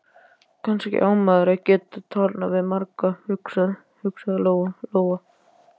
Kannski á maður að geta talað við marga, hugsaði Lóa Lóa.